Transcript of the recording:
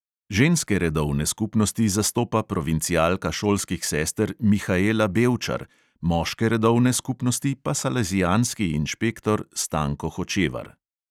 Ženske redovne skupnosti zastopa provincialka šolskih sester mihaela bevčar, moške redovne skupnosti pa salezijanski inšpektor stanko hočevar.